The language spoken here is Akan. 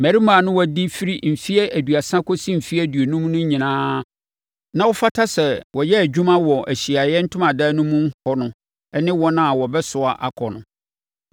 Mmarima a na wɔadi firi mfeɛ aduasa kɔsi mfeɛ aduonum no nyinaa a na wɔfata sɛ wɔyɛ adwuma wɔ Ahyiaeɛ Ntomadan no mu hɔ no ne wɔn a wɔbɛsoa akɔ no